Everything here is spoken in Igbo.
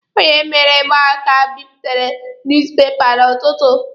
O nyeere mụ aka bipụta nuuz pepa n'ọtụtụ.